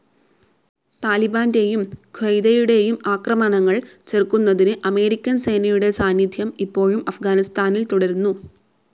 താലിബാൻ്റെയും ഖ്വയ്ദയുടെയും ആക്രമണങ്ങൾ ചെറുക്കുന്നതിന് അമേരിക്കൻ സേനയുടെ സാന്നിധ്യം ഇപ്പോഴും അഫ്‌ഗാനിസ്ഥാനിൽ തുടരുന്നു.